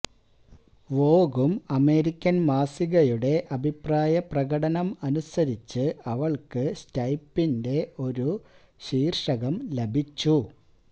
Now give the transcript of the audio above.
വോഗും American മാസികയുടെ അഭിപ്രായപ്രകടനം അനുസരിച്ച് അവൾക്ക് സ്റ്റൈപ്പിന്റെ ഒരു ശീർഷകം ലഭിച്ചു